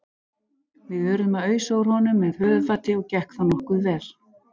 Við urðum að ausa úr honum með höfuðfati og gekk það nokkuð vel.